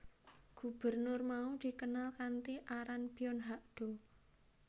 Gubernur mau dikenal kanthi aran Byon Hak do